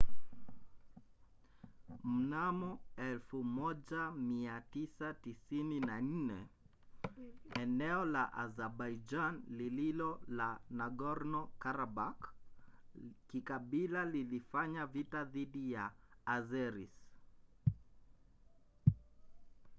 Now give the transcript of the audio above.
mnamo 1994 eneo la azabaijan lililo la nagorno-karabakh kikabila lilifanya vita dhidi ya azeris